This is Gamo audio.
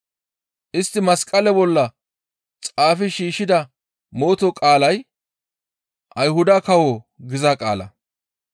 Istti masqale bolla xaafi shiishshida mooto qaalay, «Ayhuda kawo» giza qaala.